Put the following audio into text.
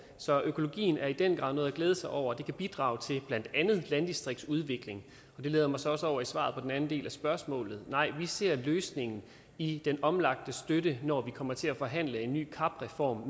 så økologien er i den grad noget at glæde sig over det kan bidrage til blandt andet landdistriktsudvikling det leder mig så også over i svaret på den anden del af spørgsmålet nej vi ser løsningen i den omlagte støtte når vi kommer til at forhandle en ny cap reform